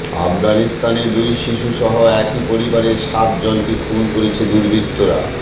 আফগানিস্তানে দুই শিশুসহ একই পরিবারের সাতজনকে খুন করেছে দুর্বৃত্তরা